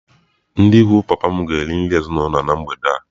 Ndị ikwu papa m ga-eri nri ezinụlọ na mgbede a.